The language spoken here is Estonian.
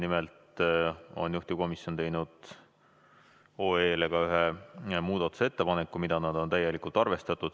Nimelt on juhtivkomisjon teinud otsuse eelnõu kohta ka ühe muudatusettepaneku, mida nad on täielikult arvestanud.